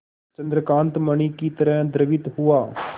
चंद्रकांत मणि ही तरह द्रवित हुआ